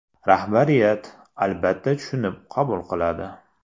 Rahbariyat, albatta, tushunib qabul qiladi.